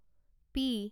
P